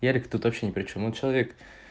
ярик тут вообще не причём он человек